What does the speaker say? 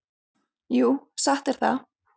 Jú, satt er það.